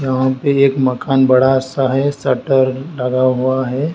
यहां पे एक मकान बड़ा सा है शटर लगा हुआ है।